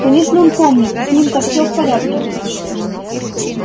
конечно он помнит с ним-то всё в порядке